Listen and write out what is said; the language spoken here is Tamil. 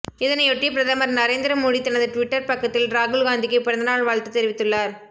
இதனையொட்டி பிரதமர் நரேந்திர மோடி தனது ட்விட்டர் பக்கத்தில் ராகுல் காந்திக்கு பிறந்தநாள் வாழ்த்து தெரிவித்துள்ளார்